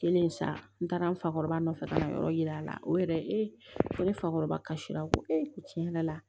Kelen sa n taara n fakɔrɔba nɔfɛ ka na yɔrɔ yira a la o yɛrɛ ee ko ne fakɔrɔbasi la ko ee tiɲɛ yɛrɛ la